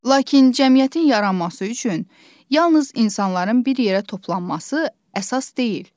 Lakin cəmiyyətin yaranması üçün yalnız insanların bir yerə toplanması əsas deyil.